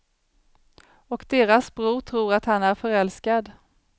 Och deras bror tror att han är förälskad.